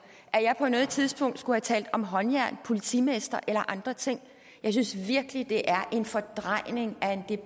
at jeg på noget tidspunkt skulle have talt om håndjern politimestre eller andre ting jeg synes virkelig det er en fordrejning